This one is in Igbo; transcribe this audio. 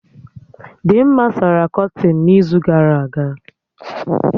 Dimma sara kọtịn n'izu gara aga